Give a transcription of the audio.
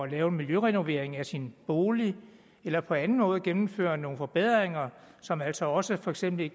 lave en miljørenovering af sin bolig eller på anden måde gennemføre nogle forbedringer som altså også for eksempel i